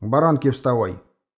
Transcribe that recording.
баранки вставай